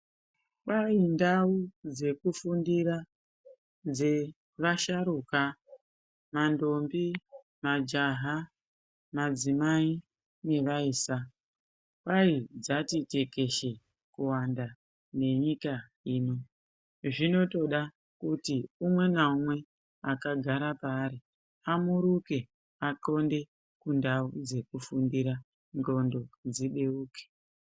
Kwai ndau dzekufundira dzevasharukwa, mandombi, majaha madzimai nevaisa kwai dzati tekeshe kuwanda nenyika ino. Zvinotoda kuti umweni ngaumwe akagara paari amuruke athonde kundau dzekufundira ndxondo dzibeuke.